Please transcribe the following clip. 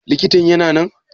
Likitan yana nan?